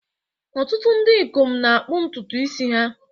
Ọtụtụ ndị ikom na-akpụ ntutu isi ha